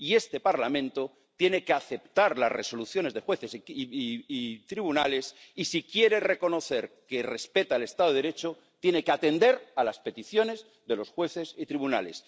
Y este Parlamento tiene que aceptar las resoluciones de jueces y tribunales, y si quiere reconocer que respeta el Estado de Derecho tiene que atender a las peticiones de los jueces y tribunales.